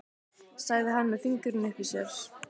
sagði hann með fingurinn uppi í sér.